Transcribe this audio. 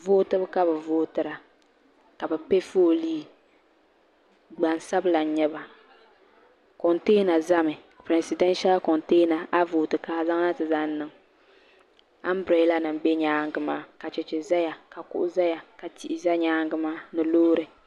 Vootibu ka bi vootira ka bi piɛ foolii gbansabila n nyɛba kontɛɛna zami pirɛsidenshal kontɛɛna a yi vooti ka a zaŋ na ti zaŋ niŋ ambirela nim bɛ nyaanga maa ka cheche zaya ka kuɣu zaya ka tihi za nyaanga maa ni loori.